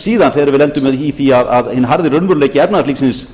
síðan þegar við lendum í því að hinn harði raunveruleiki efnahagslífsins